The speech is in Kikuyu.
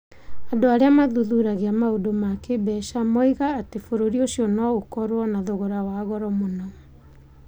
Andũ arĩa mathuthuragia maũndũ ma kĩĩmbeca moigaga atĩ bũrũri ũcio no ũkorũo na thogora wa goro mũno.